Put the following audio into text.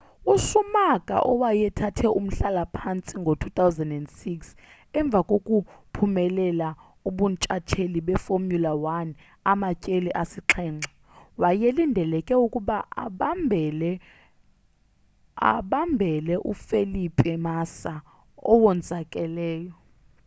uschumacher owayethathe umhlala-phantsi ngo-2006 emva kokuphumelela ubuntshatsheli befomula 1 amatyeli asixhenxe wayelindeleke ukuba abambele ufelipe massa owonzakeleyo